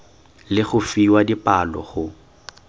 le go fiwa dipalo go